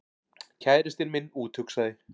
Kærastinn minn úthugsaði